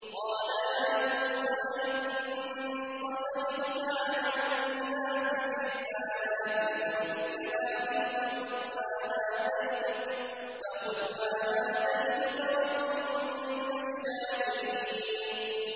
قَالَ يَا مُوسَىٰ إِنِّي اصْطَفَيْتُكَ عَلَى النَّاسِ بِرِسَالَاتِي وَبِكَلَامِي فَخُذْ مَا آتَيْتُكَ وَكُن مِّنَ الشَّاكِرِينَ